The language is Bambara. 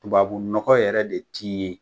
Tubabu nɔgɔ yɛrɛ de ti ye.